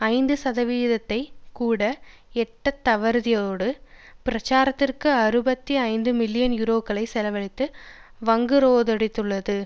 ஐந்து சதவீதத்தை கூட எட்டத் தவறியதோடு பிரச்சாரத்துக்காக அறுபத்தி ஐந்து மில்லியன் யூரோக்களை செலவழித்து வங்குரோத்தடைந்துள்ளது